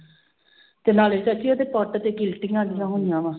ਤੇ ਨਾਲੇ ਚਾਚੀ ਉਹਦੇ ਪੱਟ ਤੇ ਗਿਲਟੀਆਂ ਜਿਹੀਆਂ ਹੋਈਆਂ ਵਾਂ